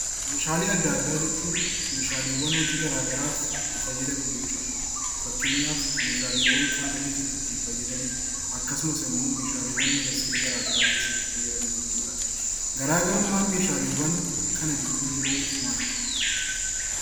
Meeshaalee adda addaa jechuun meeshaalee hojii garaagaraaf itti fayyadamnu jechuudha. Fakkeenyaaf meeshaalee hospitaala keessatti fayyadamnu akkasumas immoo meeshaalee industirii garaagaraa keessatti fayyadamnu jechuudha. Garaagarummaan meeshaalee kan gidduu jiru maalidhaa?